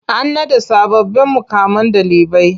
An naɗa sababbin muƙaman ɗalibai.